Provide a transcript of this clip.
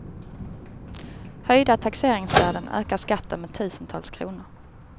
Höjda taxeringsvärden ökar skatten med tusentals kronor.